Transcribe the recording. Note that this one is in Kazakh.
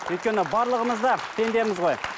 өйткені барлығымыз да пендеміз ғой